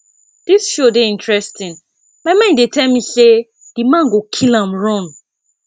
dis show dey interesting my mind dey tell me say the man go kill am run